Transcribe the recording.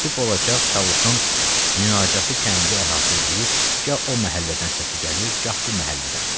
Sübh olacaq Çavuşun münacatı kəndi əhatə eləyib, gah o məhəllədən səsi gəlir, gah bu məhəllədən.